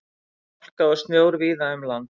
Hálka og snjór víða um land